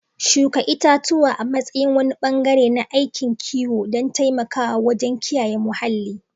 Shuka itatuwa a matsayin wani bangare na aikin kiwo don taimakawa wajen kiyaye muhalli.